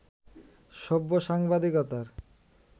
সভ্য-সাংবাদিকতার